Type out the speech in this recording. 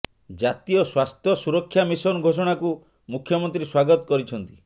ଜାତୀୟ ସ୍ୱାସ୍ଥ୍ୟ ସୁରକ୍ଷା ମିଶନ ଘୋଷଣା କୁ ମୁଖ୍ୟମନ୍ତ୍ରୀ ସ୍ୱାଗତ କରିଛନ୍ତି